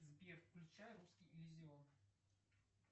сбер включай русский иллюзион